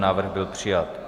Návrh byl přijat.